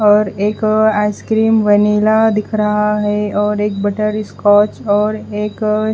और एक ice cream vanilla दिख रहा है और एक बटर स्कॉच और एक --